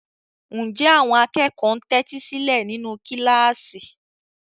Ǹjẹ́ àwọn akẹ́kọ̀ọ́ ń tẹ́tí sílẹ̀ nínú kíláàsì?